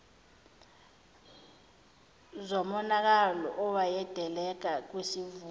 zomonakalo oyodaleka kwisivuno